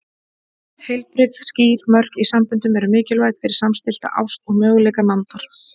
Heilbrigð, skýr mörk í samböndum eru mikilvæg fyrir samstillta ást og möguleika nándar.